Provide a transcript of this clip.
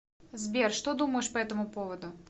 сбер что думаешь по этому поводу